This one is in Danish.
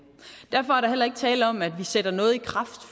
derfor er ikke tale om at vi sætter noget i kraft